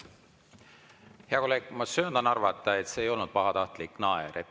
Hea kolleeg, ma söandan arvata, et see ei olnud pahatahtlik naer.